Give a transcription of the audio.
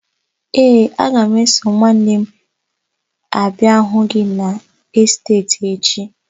Ee, aga m eso nwanne m abịa hụ gị n'esteeti echi.